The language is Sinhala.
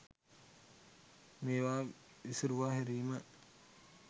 මේවා විසුරුවා හැරීම.